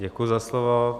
Děkuji za slovo.